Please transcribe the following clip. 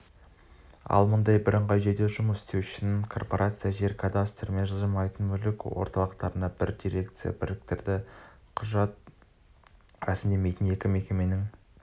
ал мұндай бірыңғай жүйеде жұмыс істеу үшін корпорация жер кадастры мен жылжымайтын мүлік орталықтарын бір дирекцияға біріктірді құжат рәсімдейтін екі мекеменің